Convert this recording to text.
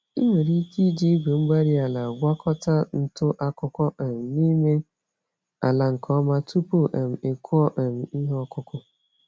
Ị nwere ike iji igwe-mgbárí-ala gwakọta ntụ-akụkụ um n'ime ala nke ọma tupu um ị kụọ um ihe ọkụkụ.